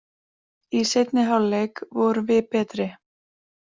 Í seinni hálfleik vorum við betri